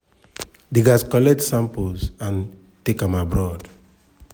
dem gatz collect samples and take am abroad.